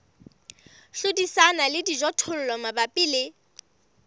hlodisana le dijothollo mabapi le